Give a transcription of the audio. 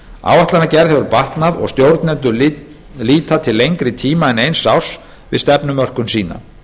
áætlanagerð hefur batnað og stjórnendur líta til lengri tíma en eins árs við stefnumörkun sína